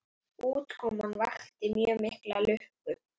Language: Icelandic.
Útkoman vakti mjög mikla lukku.